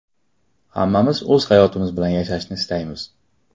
Hammamiz o‘z hayotimiz bilan yashashni istaymiz.